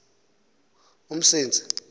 umsintsi